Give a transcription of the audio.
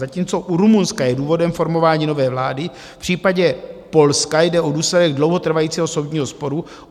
Zatímco u Rumunska je důvodem formování nové vlády, v případě Polska jde o důsledek dlouhotrvajícího soudního sporu.